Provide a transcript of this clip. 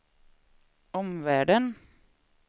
omvärlden